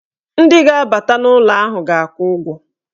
Ndị ga-abata n'ụlọ ahụ ga-akwụ ụgwọ.